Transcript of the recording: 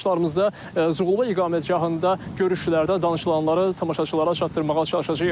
Növbəti buraxılışlarımızda Zuğulbə iqamətgahında görüşlərdə danışılanları tamaşaçılara çatdırmağa çalışacağıq.